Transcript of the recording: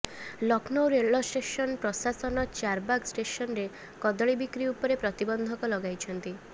ଲକ୍ଷ୍ମୌ ରେଳଷ୍ଟେସନ୍ ପ୍ରଶାସନ ଚାରବାଗ ଷ୍ଟେସନରେ କଦଳୀ ବିକ୍ରି ଉପରେ ପ୍ରତିବନ୍ଧକ ଲଗାଇଛନ୍ତି